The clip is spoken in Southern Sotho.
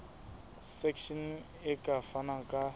section e ka fana ka